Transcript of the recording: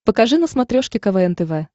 покажи на смотрешке квн тв